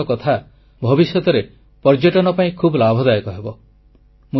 ଏ ସମସ୍ତ କଥା ଭବିଷ୍ୟତରେ ପର୍ଯ୍ୟଟନ ପାଇଁ ଖୁବ୍ ଲାଭଦାୟକ ହେବ